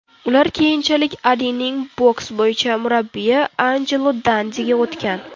Ular keyinchalik Alining boks bo‘yicha murabbiyi Anjelo Dandiga o‘tgan.